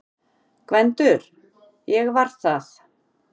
GVENDUR: Ég var það!